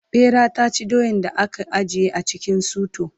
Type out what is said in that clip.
ɓera ta ci doyan da aka ajiye a cikin suto